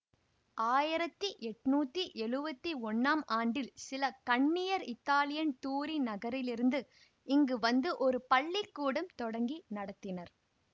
ஆயிரத்தி எண்ணூற்றி எழுவத்தி ஒன்னாம் ஆண்டில் சில கன்னியர் இத்தாலியின் தூரின் நகரிலிருந்து இங்கு வந்து ஒரு பள்ளி கூடம் தொடங்கி நடத்தினர்